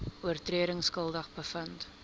oortredings skuldig bevind